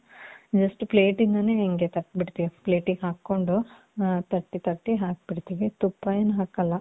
just plate ಇಂದಾನೆ ಹಿಂಗೆ ತಟ್ಬಿಡ್ತೀವಿ. plate ಇಗೆ ಹಾಕ್ಕೊಂಡು, ಆ ತಟ್ಟಿ, ತಟ್ಟಿ ಹಾಕ್ಬಿಡ್ತೀವಿ. ತುಪ್ಪ ಏನ್ ಹಾಕಲ್ಲ.